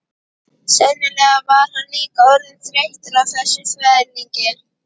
Sennilega var hann líka orðinn þreyttur á þessum þvælingi.